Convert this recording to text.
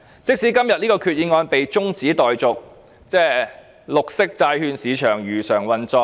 即使今次決議案的辯論中止待續，綠色債券市場化會如常運作。